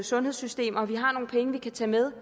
sundhedssystem og vi har nogle penge vi kan tage med